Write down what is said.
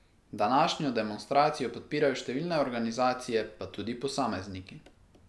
Današnjo demonstracijo podpirajo številne organizacije pa tudi posamezniki.